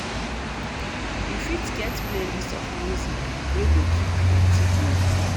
You fitget playlist of music wey go keep di party going.